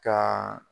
Ka